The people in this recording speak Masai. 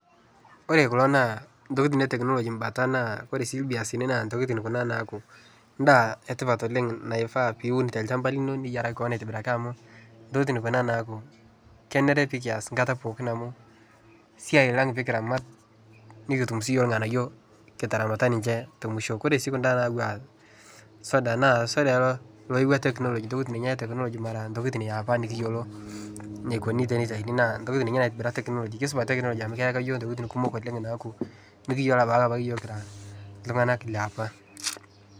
Ore kulo naa intokitin e teknology imbatan naa ore sii irviazini naa intokitin kuna naaku ndaa e tipat oleng' naifaa piun tolchamba lino, niyiaraki kewon aitibiraki amu intokitin kuna naaku kenare pee kias enkata pookin amu esiai lang' pee kiramat, nekitum siyiok irng'anayio kiramata ninche te mwisho. Kore sii kunda naaku a soda naa soda ena loyewua teknology, intokitin ninye e teknology mara intokitin e apa nekiyiolo enikoni teniyauni naa intokitin ninye naitibira teknology. Kesupat teknology amu keyaka iyiok intokitin kumok oleng' naaku mekiyiolo apa yiok kira iltung'anak liapa.